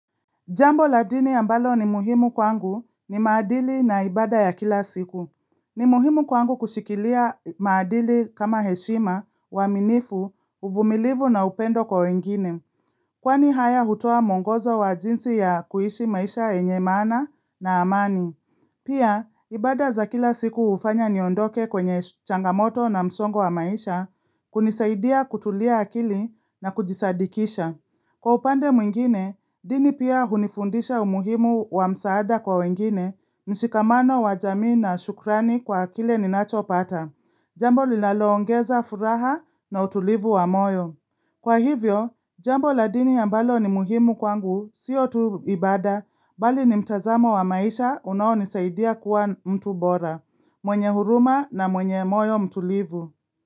Jambo la dini ambalo ni muhimu kwangu ni maadili na ibada ya kila siku. Ni muhimu kwangu kushikilia maadili kama heshima, uaminifu, uvumilivu na upendo kwa wengine. Kwani haya hutoa mwongozo wa jinsi ya kuishi maisha yenye maana na amani. Pia, ibada za kila siku hufanya niondoke kwenye changamoto na msongo wa maisha hunisaidia kutulia akili na kujisadikisha. Kwa upande mwingine, dini pia hunifundisha umuhimu wa msaada kwa wengine, mshikamano wa jamii na shukrani kwa kile ninacho pata. Jambo linaloongeza furaha na utulivu wa moyo. Kwa hivyo, jambo la dini a mbalo ni muhimu kwangu, siyo tuibada, bali ni mtazamo wa maisha unaonisaidia kuwa mtu bora. Mwenye huruma na mwenye moyo mtu livu.